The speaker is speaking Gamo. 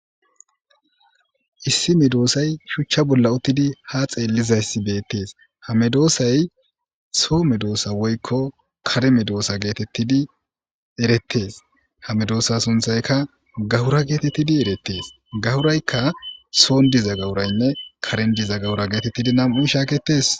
Issi medosay shucha bola utidi ha xelizaysi betes ha medosay so medosa woyko kare medosa getetidi eretes ha medosa sunthayka gawura getetidi eretes gawuraykka son diza gawuraynne karen diza gawura getetidi nam'u shaketes.